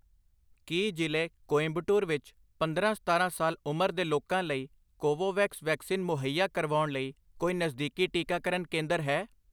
ਕੀ ਜ਼ਿਲ੍ਹੇ ਕੋਇੰਬਟੂਰ ਵਿੱਚ ਪੰਦਰਾਂ ਸਤਾਰਾਂ ਸਾਲ ਉਮਰ ਦੇ ਲੋਕਾਂ ਲਈ ਕੋਵੋਵੈਕਸ ਵੈਕਸੀਨ ਮੁਹੱਈਆ ਕਰਵਾਉਣ ਲਈ ਕੋਈ ਨਜ਼ਦੀਕੀ ਟੀਕਾਕਰਨ ਕੇਂਦਰ ਹੈ?